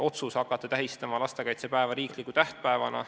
Otsus hakata tähistama lastekaitsepäeva riikliku tähtpäevana ...